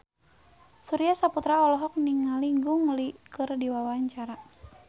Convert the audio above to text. Surya Saputra olohok ningali Gong Li keur diwawancara